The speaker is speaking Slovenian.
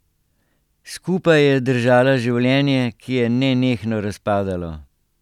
Skupaj je držala življenje, ki je nenehno razpadalo.